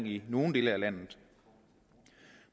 i nogle dele af landet